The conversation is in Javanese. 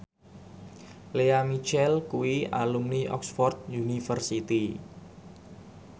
Lea Michele kuwi alumni Oxford university